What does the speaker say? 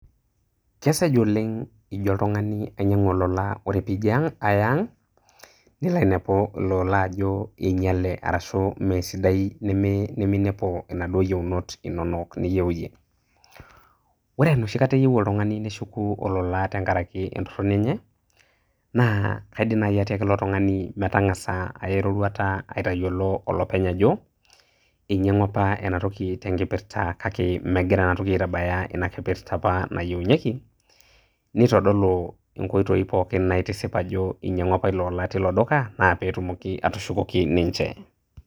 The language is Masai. kesej oleng ijo oltungani ainyiangu olola ore pee ijo aya ang. nilo ainepu ilo ola ajo ingiale, mesidai, ashu neminepu inaduoo yieunot inonok niyieu iyie. ore enoshi kata, eyieu oltungani neshuku olola tenkaraki entoroni enye, naa kaidim naaji atiaki ilotungani metangasa aya eroruata aitayiolo olopeny ajo einyangua apa ena toki tenkipirta kake megira enatoki aitabaya inakipirta apa nayieunyieki. neitodolu inkoitoi pooin naitisip ajo, inyiangua apa ilo ola teilo duka naa pee etumoki atushukoki ninche.